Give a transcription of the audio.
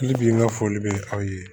bi n ka foli bɛ aw ye